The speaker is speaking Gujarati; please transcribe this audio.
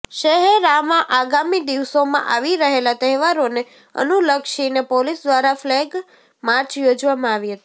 શહેરામાં આગામી દિવસોમાં આવી રહેલા તહેવારોને અનુલક્ષીને પોલીસ દ્વારા ફલેગ માર્ચ યોજવામાં આવી હતી